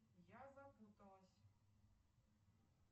я запуталась